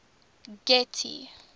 getty